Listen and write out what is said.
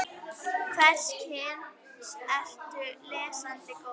Hvers kyns ertu lesandi góður?